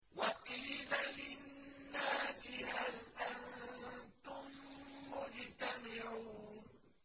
وَقِيلَ لِلنَّاسِ هَلْ أَنتُم مُّجْتَمِعُونَ